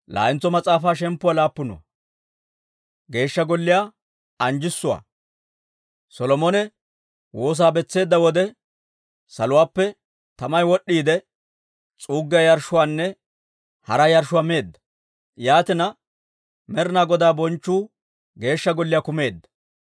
Solomone woosaa betseedda wode, saluwaappe tamay wod'd'iide, s'uuggiyaa yarshshuwaanne hara yarshshuwaa meedda. Yaatina, Med'inaa Godaa bonchchu Geeshsha Golliyaa kumeedda.